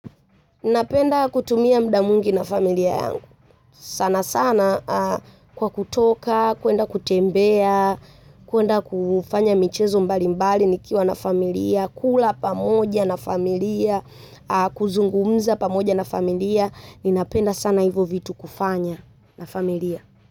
Napenda kutumia mda mwingi na familia yangu. Sana sana kwa kutoka, kuenda kutembea, kuenda kufanya michezo mbali mbali nikiwa na familia, kula pamoja na familia, kuzungumza pamoja na familia. Napenda sana hivo vitu kufanya na familia.